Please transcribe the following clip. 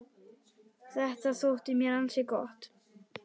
Þetta þótti mér ansi gott.